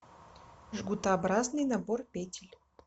жгутообразный набор петель